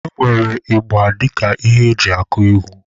E nwere ịgba dịka ihe eji akụ egwu.